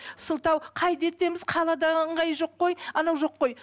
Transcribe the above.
сылтау қайда етеміз қалада ыңғайы жоқ қой анау жоқ қой